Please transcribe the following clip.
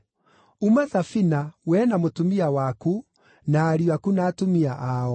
“Uma thabina, wee na mũtumia waku, na ariũ aku na atumia ao.